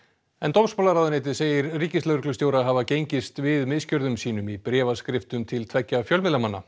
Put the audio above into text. dómsmálaráðuneytið segir ríkislögreglustjóra hafa gengist við misgjörðum sínum í bréfaskriftum til tveggja fjölmiðlamanna